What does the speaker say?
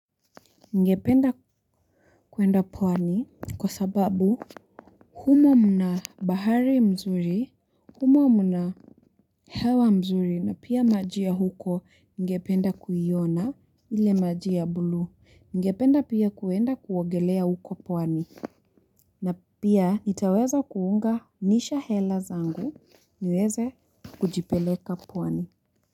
Ngependa kuenda pwani kwa sababu humo mna bahari mzuri, humo mna hewa mzuri na pia majia huko ngependa kuyiona ile majia bulu. Ngependa pia kuenda kuwagelea huko pwani. Na pia itaweza kuunganisha hela zangu niweze kujipeleka pwani.